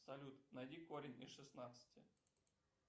салют найди корень из шестнадцати